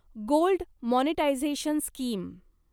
gold monetisation scheme